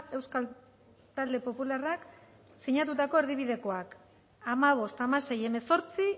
euskal talde popularrak sinatutako erdibidekoak hamabost hamasei hemezortzi